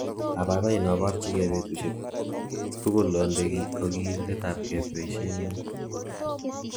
Abaibai inoborchike betushek tugul onde kokiletabge boishenyun.